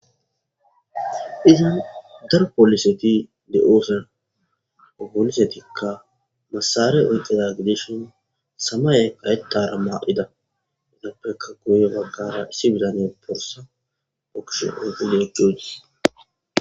Izan daro poliseti de7oosan obolisetikka masare oyqqida gideshon samaya kayetara maa7ida idappeka guye baggara issi bidane borsa bokish oguleekkeodi